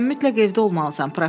sən mütləq evdə olmalısan,